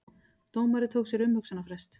Dómari tók sér umhugsunarfrest